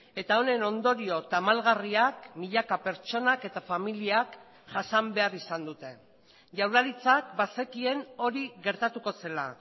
eta honen ondorio tamalgarriak milaka pertsonak eta familiak jasan behar izan dute jaurlaritzak bazekien hori gertatuko zela